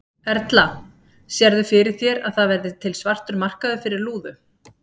Erla: Sérðu fyrir þér að það verði til svartur markaður fyrir lúðu?